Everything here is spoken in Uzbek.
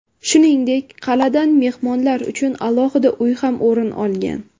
Shuningdek, qal’adan mehmonlar uchun alohida uy ham o‘rin olgan.